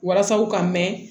Walasa u ka mɛn